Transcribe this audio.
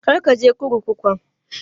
Kar ka je kurkukun!